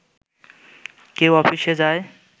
কেউ অফিসে যায়